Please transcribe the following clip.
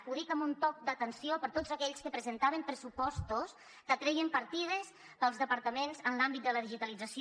ho dic com un toc d’atenció per a tots aquells que presentaven pressupostos que treien partides dels departaments en l’àmbit de la digitalització